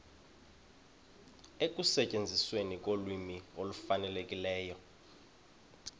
ekusetyenzisweni kolwimi olufanelekileyo